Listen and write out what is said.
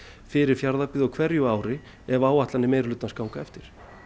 fyrir Fjarðabyggð á hverju ári ef áætlanir meirihlutans ganga eftir